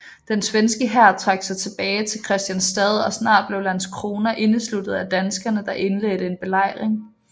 Den svenske hær trak sig tilbage til Kristianstad og snart blev Landskrona indesluttet af danskerne der indledte en belejring